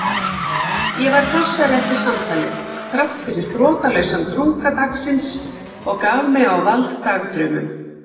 Ég var hressari eftir samtalið þráttfyrir þrotlausan drunga dagsins og gaf mig á vald dagdraumum.